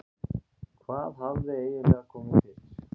Hvað hafði eiginlega komið fyrir?